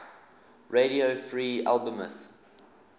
radio free albemuth